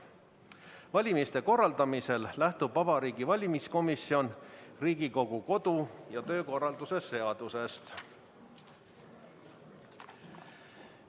Valimiste korraldamisel lähtub Vabariigi Valimiskomisjon Riigikogu kodu- ja töökorra seadusest.